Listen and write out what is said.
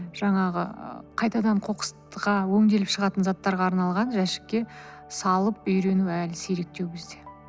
жаңағы ыыы қайтадан қоқысқа өңделіп шығатын заттарға арналған жәшікке салып үйрену әлі сиректеу бізде